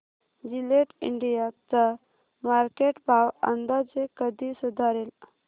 Gillette India चा market भाव अंदाजे कधी सुधारेल